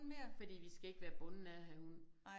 Fordi vi skal ikke være bundet af at have hund